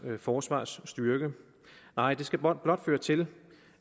forsvarsstyrke nej det skal blot føre til